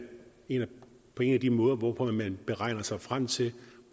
jo en af de måder hvorpå man beregner sig frem til